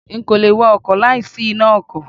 N kò le wa ọkọ̀ láì sí iná ọkọ̀.